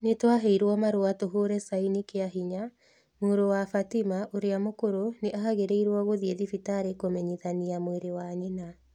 Nĩ twaheirũo marũa tũhũre saĩni kĩa hinya. Mũrũ wa Fathima ũrĩa mũkũrũ nĩ aagĩrĩirũo gũthiĩ thibitarĩ kũmenyithania mwĩrĩ wa nyina.